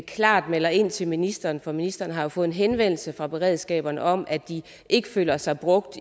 klart melder ind til ministeren for ministeren har fået en henvendelse fra beredskaberne om at de ikke føler sig brugt